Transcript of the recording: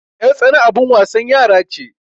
yartsana abin wasan yara ce